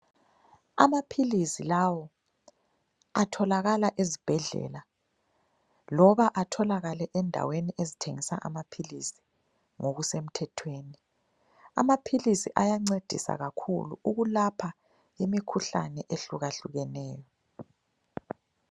Amaphilisi lawo atholakala ezibhedlela loba atholakale endaweni ezithengisa amaphilisi ngokuse mthethweni, amaphilisi ayancedisa kakhulu ukulapha imikhuhlane ehlukahlukeneyo.